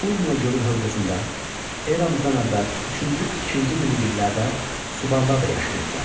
Urmiya hövzəsində eramızdan əvvəl üçüncü-ikinci minilliklərdə Subarlar da yaşayırdılar.